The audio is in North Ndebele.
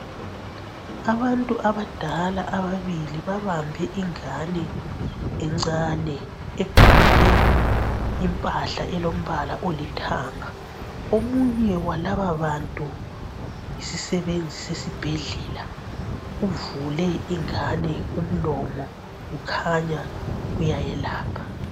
Abantu abadala ababili babambe ingane encane egqoke impahla elombala olithanga. Omunye walababantu yisisebenzi sesibhedlela. Uvule ingane umlomo ukhanya uyayelapha.